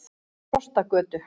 Frostagötu